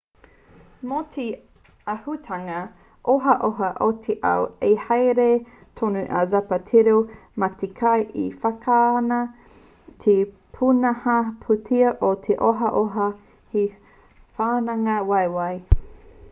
mō te āhuatanga ohaoha o te ao i haere tonu a zapatero mā te kī he wāhanga te pūnaha pūtea o te ohaoha he wāhanga waiwai